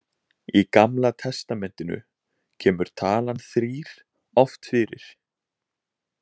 Í Gamla testamentinu kemur talan þrír oft fyrir.